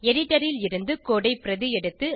editor ல் இருந்து code ஐ பிரதி எடுத்து